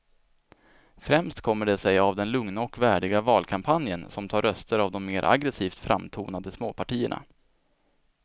Främst kommer det sig av den lugna och värdiga valkampanjen som tar röster av de mer aggresivt framtonade småpartierna.